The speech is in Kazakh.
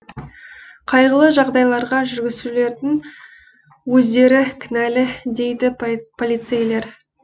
қайғылы жағдайларға жүргізушілердің өздері кінәлі дейді полицейлер